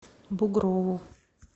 бугрову